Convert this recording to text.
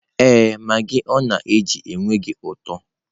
Ee, magị ọ na-eji enweghị ụtọ.